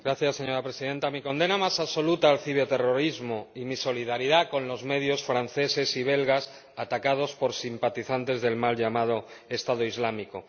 Señora Presidenta, mi condena más absoluta al ciberterrorismo y mi solidaridad con los medios franceses y belgas atacados por simpatizantes del mal llamado Estado Islámico.